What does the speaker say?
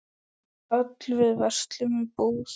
Öll við verslum í búð.